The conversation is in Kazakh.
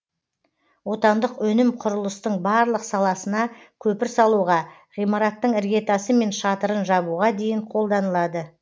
отандық өнім құрылыстың барлық саласына көпір салуға ғимараттың іргетасы мен шатырын жабуға дейін қолданылады